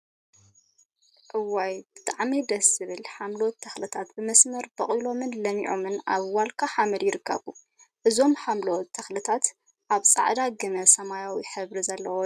እዋይ! ብጣዕሚ ደስ ዝብል ሓምለዎት ተክልታት ብመስመር በቂሎምን ለሚዖምን ኣብ ዋልካ ሓመድ ይርከቡ። እዞም ሓምለዎት ተክሊታት ኣብ ጻዕዳ ግመን ሰማያዊ ሕብሪን ዘለዎ ድሕረ ባይታ ይርከብ።